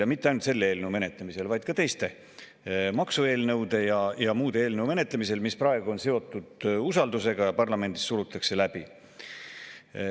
Ja mitte ainult selle eelnõu menetlemisel, vaid ka teiste maksueelnõude ja muude eelnõude menetlemisel, mis praegu on seotud usaldusega ja mida parlamendis surutakse läbi.